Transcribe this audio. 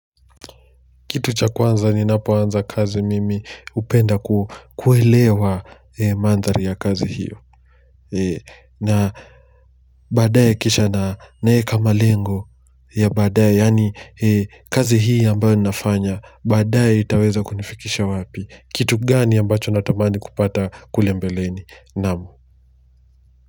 Kitu cha kwanza ninapo anza kazi mimi hupenda kuelewa Mandhari ya kazi hiyo. Na baadaye kisha naweka malengo, ya baadaye yaani kazi hii ambayo ninafanya, baadaye itaweza kunifikisha wapi. Kitu gani ambacho natamani kupata kule mbeleni, naam.